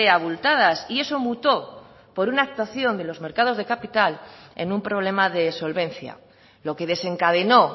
abultadas y eso mutó por una actuación de los mercados de capital en un problema de solvencia lo que desencadenó